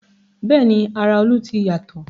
Bẹ́ẹ̀ni ara Olú ti yàtọ̀